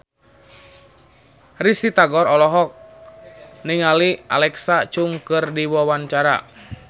Risty Tagor olohok ningali Alexa Chung keur diwawancara